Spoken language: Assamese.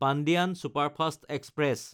Pandian superfast express